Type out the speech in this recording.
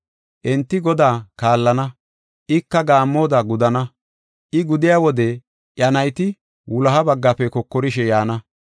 Enti Godaa kaallana; ika gaammoda gudana. I gudiya wode iya nayti wuloha baggafe kokorishe yaana.